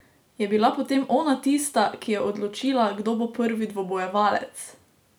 Je bila potem ona tista, ki je odločila, kdo bo prvi dvobojevalec?